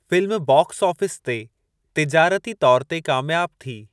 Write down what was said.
Film box office ते तिजारती तौर ते कामयाबु थी।